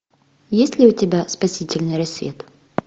есть ли у тебя спасительный рассвет